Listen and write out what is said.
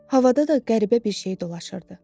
Havada da qəribə bir şey dolaşırdı.